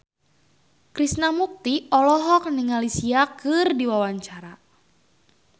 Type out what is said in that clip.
Krishna Mukti olohok ningali Sia keur diwawancara